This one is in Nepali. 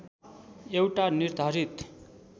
एउटा निर्धारित